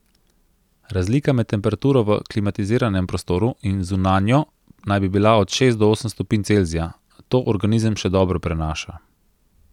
Razlika med temperaturo v klimatiziranem prostoru in zunanjo naj bi bila od šest do osem stopinj Celzija, to organizem še dobro prenaša.